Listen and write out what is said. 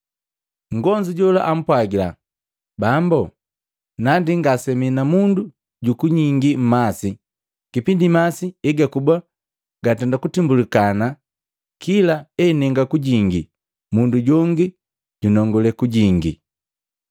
Nngonzu jola ampwagila, “Bambu, nandi ngasemi na mundu jukunyingi mmasi kipindi masi egakuba agatimbwilini, kila enenga kujingi mundu jongi jundenda kunongule.”